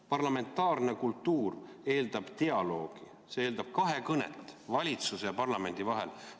Parlamentaarne kultuur eeldab dialoogi, see eeldab kahekõnet valitsuse ja parlamendi vahel.